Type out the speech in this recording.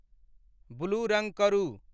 blue रंग करू